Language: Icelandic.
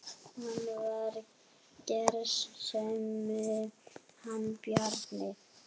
Hann var gersemi hann Bjarni.